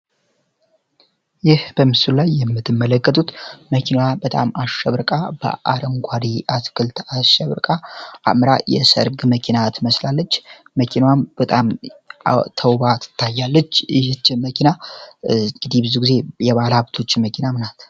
ይህ በምስሉ ላይ የምትመለከቱት መኪና በጣም አሸብርቃ በአረንጓዴ አትክልት አሸብርቃ፣ አምራ የሰርግ መኪና ትመስላለች መኪናዋም በጣም አምራ ትታያለች። ይች መኪና ብዙውን ጊዜ የባለሀብቶች መኪናም ናት።